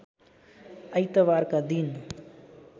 आइतबारका दिन